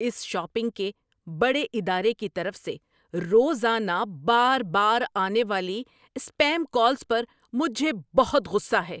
اس shopping کے بڑے ادارے کی طرف سے روزانہ بار بار آنے والی اسپیم کالز پر مجھے بہت غصہ ہے۔